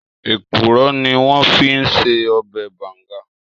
Èkúrò ni wòn fi n sè òbè bàngá